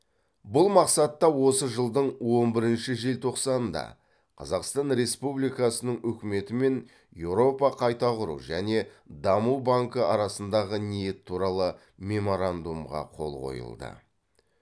бұл мақсатта осы жылдың он бірінші желтоқсанында қазақстан республикасының үкіметі мен еуропа қайта құру және даму банкі арасындағы ниет туралы меморандумға қол қойылды